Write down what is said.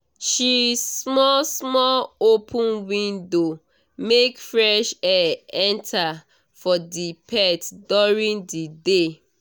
she small small open window make fresh air enter for the pet during the day